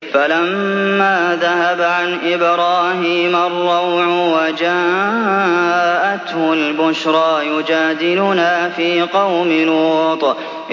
فَلَمَّا ذَهَبَ عَنْ إِبْرَاهِيمَ الرَّوْعُ وَجَاءَتْهُ الْبُشْرَىٰ يُجَادِلُنَا فِي قَوْمِ لُوطٍ